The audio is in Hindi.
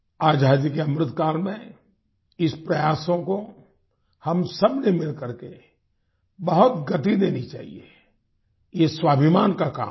आज़ादी के अमृत काल में इस प्रयासों को हम सब ने मिलकर के बहुत गति देनी चाहिये ये स्वाभिमान का काम है